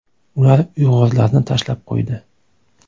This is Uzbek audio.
Ular uyg‘urlarni tashlab qo‘ydi.